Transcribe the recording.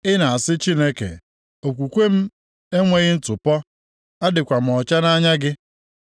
Ị na-asị Chineke, ‘Okwukwe m enweghị ntụpọ, adịkwa m ọcha nʼanya gị.’